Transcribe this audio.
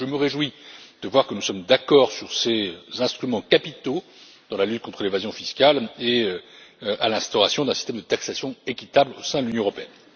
Je me réjouis de voir que nous sommes d'accord sur ces instruments capitaux dans la lutte contre l'évasion fiscale et sur l'instauration d'un système de taxation équitable au sein de l'Union européenne.